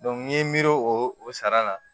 n ye n miiri o o sara la